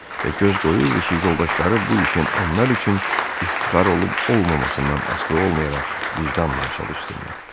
Və göz qoyurdu ki, yoldaşları bu işin onlar üçün iftixar olub-olmamasından asılı olmayaraq vicdanla çalışsınlar.